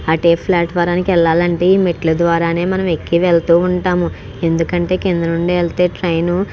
అటు వైపు platform కి వెళ్లాలంటే ఈ మెట్లు ద్వారానే మనం ఎక్కి మనము వెళ్తూ ఉంటాము. ఎందుకంటె కింద నుండి వెళ్తే ట్రైను --